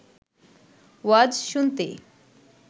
ওয়াজ শুনতে